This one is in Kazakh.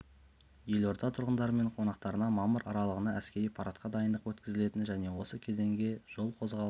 елорда тұрғындары мен қонақтарына мамыр аралығында әскери парадқа дайындық өткізілетіні және осы кезеңде жол қозғалысы